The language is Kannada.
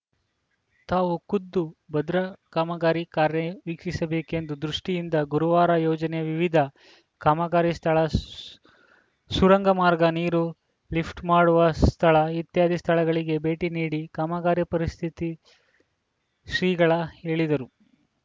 ತಾವು ಖುದ್ದು ಭದ್ರಾ ಕಾಮಗಾರಿ ಕಾರ್ಯ ವೀಕ್ಷಿಸಬೇಕೆಂಬ ದೃಷ್ಟಿಯಿಂದ ಗುರುವಾರ ಯೋಜನೆಯ ವಿವಿಧ ಕಾಮಗಾರಿ ಸ್ಥಳ ಶು ಸುರಂಗ ಮಾರ್ಗ ನೀರು ಲಿಫ್ಟ್‌ ಮಾಡುವ ಸ್ಥಳ ಇತ್ಯಾದಿ ಸ್ಥಳಗಳಿಗೆ ಭೇಟಿ ನೀಡಿ ಕಾಮಗಾರಿ ಪರಿಸ್ಥಿತಿ ಶ್ರೀಗಳ ಹೇಳಿದರು